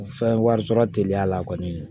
Fɛn wari sɔrɔ teliya la kɔni